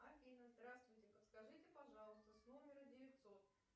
афина здравствуйте подскажите пожалуйста с номера девятьсот